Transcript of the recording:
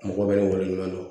Mɔgɔ wɛrɛw na